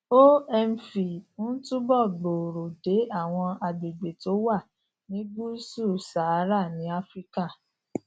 omv ń túbọ gbòòrò dé àwọn agbègbè tó wà ní gúúsù sahara ní áfíríkà